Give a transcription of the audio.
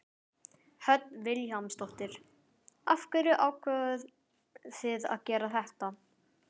Hödd Vilhjálmsdóttir: Af hverju ákváðuð þið að gera þetta?